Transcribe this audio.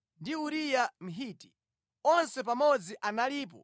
ndi Uriya Mhiti. Onse pamodzi analipo 37.